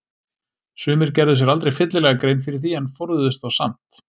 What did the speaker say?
Sumir gerðu sér aldrei fyllilega grein fyrir því en forðuðust þá samt.